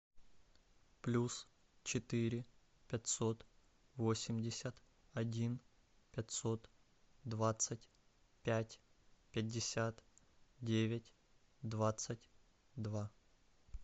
плюс четыре пятьсот восемьдесят один пятьсот двадцать пять пятьдесят девять двадцать два